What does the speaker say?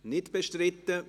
– Nicht bestritten.